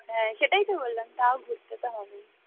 হ্যাঁ সেটাই তো বললাম তাও ঘুরতে হবেই